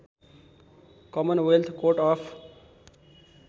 Commonwealth Court of